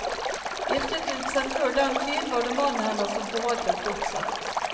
Giftet hun seg før den tid, var det mannen hennes som forvaltet godset.